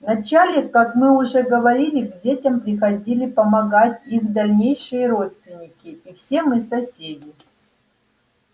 вначале как мы уже говорили к детям приходили помогать их дальнейшие родственники и все мы соседи